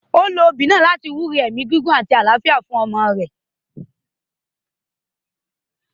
Ó lo obì náà láti wúre ẹ̀mí gígùn àti àlàáfíà fún ọmọ náà.